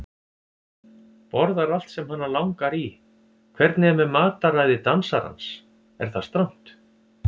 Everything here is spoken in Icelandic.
Borðar allt sem hana langar í Hvernig er með mataræði dansarans, er það strangt?